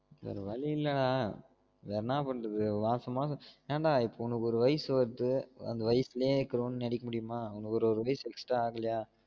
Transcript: வேற வலி இல்ல டா வேற என்னா பண்றது மாசம் மாசம் என் டா இப்போ உனக்கு ஒரு வயசு வருது அந்த வயசுலே நடிக்க முடியுமா அந்த ஒரு ஒரு வயசு extra ஆகலயா